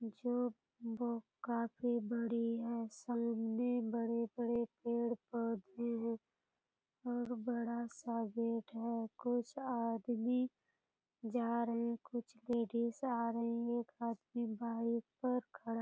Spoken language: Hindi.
जो वो काफी बड़ी है सामने बड़े-बड़े पेड़-पौधे हैं और बड़ा सा गेट है कुछ आदमी जा रहे हैं कुछ लेडीज आ रही हैं एक आदमी बाइक पर खड़ा --